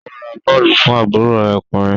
Ó ra bọ́ọ̀lù fún àbúrò rẹ ọkùnrin